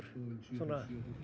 að